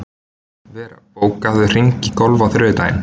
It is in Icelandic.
Vera, bókaðu hring í golf á þriðjudaginn.